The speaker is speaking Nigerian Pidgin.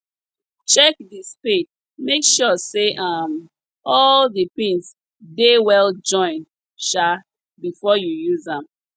check di spade make sure say um all di pins dey well join um before you use am